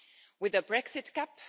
With the Brexit cut.